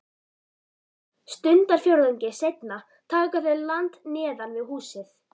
Stundarfjórðungi seinna taka þau land neðan við húsið.